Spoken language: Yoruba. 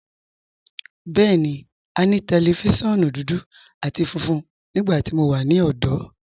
Bẹẹni, à ní tẹlifíṣiọ̀nù dúdú àti fúnfún nígbàtí mó wà ní ọ̀dọ̀.